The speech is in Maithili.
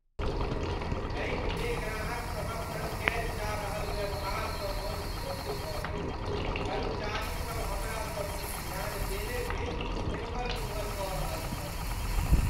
बैंकमे ग्राहक सभक सङ्ग कयल जा रहल व्यवहारसँ मन क्षुब्ध भऽ गेल, कर्मचारीसब हमरा सब दिस ध्यान देने बिनु एम्हर ओम्हर कऽ रहल छल।